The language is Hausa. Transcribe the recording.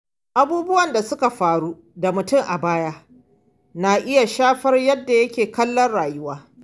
Abubuwan da suka faru da mutum a baya na iya shafar yadda yake kallon rayuwa.